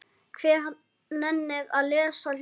Hver nennir að lesa ljóð?